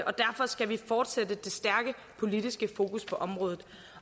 og derfor skal vi fortsætte det stærke politiske fokus på området